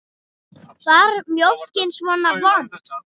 Var mjólkin svona vond?